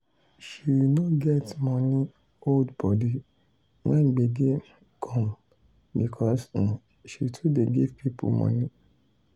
um she no get money hold body when gbege um come because um she too dey give people money